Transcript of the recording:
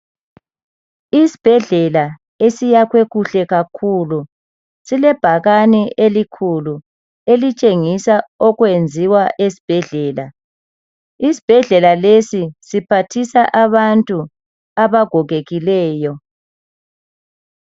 Isibhedlela esiyakhwe kuhle kakhulu silebhakane elikhulu elitshengisa okwenziwa esibhedlela isibhedlela lesi siphathisa abantu abagogekileyo